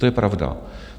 To je pravda.